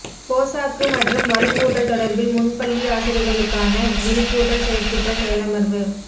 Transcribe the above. போசாக்கு மற்றும் வலுவூட்டல் தொடர்பில் முன்பள்ளி ஆசிரியர்களுக்கான விழிப்பூட்டல் செயற்திட்ட செயலமர்வு